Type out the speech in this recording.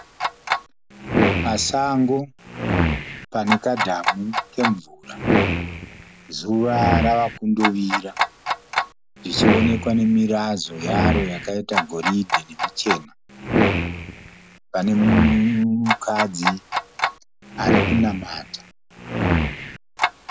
Pasango pane kadhamu kemvura. Zuva rava kundovira zvichionekwa nemirazvo yaro yakaita goridhe nemichena. Pane mukadzi ari kunamata.